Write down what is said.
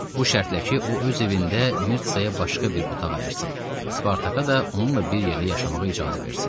Bu şərtlə ki, o öz evində Mirtsaya başqa bir otaq ayırsın, Spartaka da onunla bir yerdə yaşamağa icazə versin.